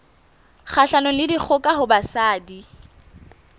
kgahlanong le dikgoka ho basadi